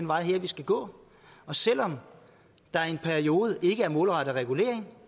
vej vi skal gå og selv om der i en periode ikke er en målrettet regulering